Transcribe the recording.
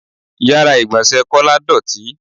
Ìyára ìgbọ̀nsẹ̀ Kọ́lá dọọti.